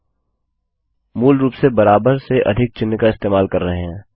मूलरूप से इक्वल्स बराबर और ग्रेटर थान से अधिक चिह्नजीटी का इस्तेमाल कर रहे हैं